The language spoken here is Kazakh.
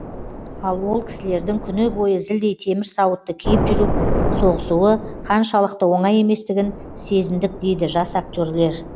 ал ол кісілердің күні бойы зілдей темір сауытты киіп жүріп соғысуы қаншалықты оңай еместігін сезіндік дейді жас актерлер